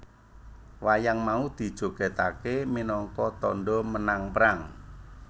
Wayang mau dijogetakke minangka tandha menang perang